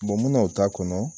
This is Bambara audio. minnu t'a kɔnɔ